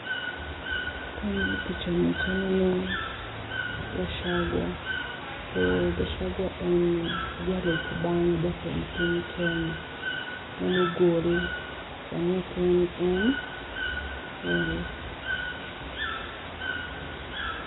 Ka ang'iyo picha ni to aneno Gachagua, to Gachagua en jalup bang' jatend piny Kenya mane ogol sani ok en en, eeh